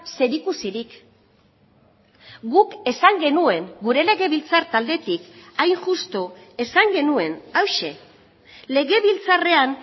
zerikusirik guk esan genuen gure legebiltzar taldetik hain justu esan genuen hauxe legebiltzarrean